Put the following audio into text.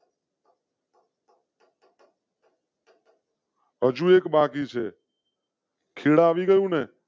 હજુ એક બાકી છે. ખેદ આવી ગયું ને?